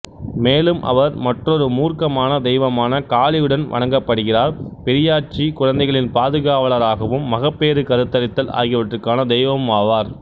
மேலும் அவர் மற்றொரு மூர்க்கமான தெய்வமான காளியுடன் வணங்கப்படுகிறார் பெரியாச்சி குழந்தைகளின் பாதுகாவலராகவும் மகப்பேறு கருத்தரித்தல் ஆகியவற்றுக்கான தெய்வமுமாவார்